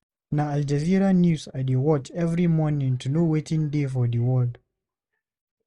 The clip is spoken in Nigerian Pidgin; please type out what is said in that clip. Na Al Jazeera news I dey watch every morning to know wetin dey for di world.